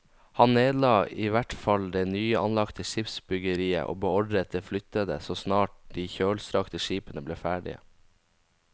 Han nedla i hvert fall det nyanlagte skipsbyggeriet og beordret det flyttet så snart de kjølstrakte skipene ble ferdige.